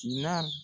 Sina